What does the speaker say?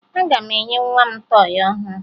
Aga m enye nwa m tọọyị ọhụrụ